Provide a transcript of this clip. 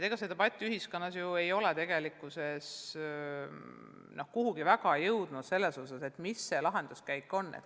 Ega see debatt ei ole ju ühiskonnas tegelikult selles osas kuhugi väga jõudnud, et mis see lahenduskäik on.